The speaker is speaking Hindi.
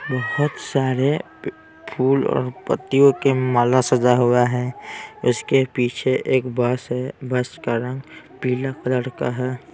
बहुत सारे फूल और पत्तियों के माला सजा हुआ हैं उसके पीछे एक बस हैं बस का रंग पीला कलर का हैं।